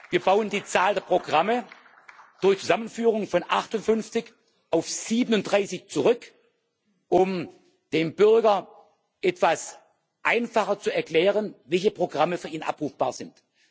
Wir bauen die Zahl der Programme durch Zusammenführung von 58 auf 37 zurück, um dem Bürger etwas einfacher zu erklären, welche Programme für ihn abrufbar sind.